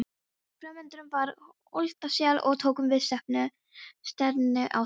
Framundan var Holtasel og tókum við stefnu á það.